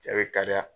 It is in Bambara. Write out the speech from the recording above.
Cɛ be kariya